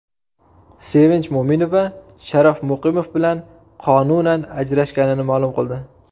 Sevinch Mo‘minova Sharof Muqimov bilan qonunan ajrashganini ma’lum qildi.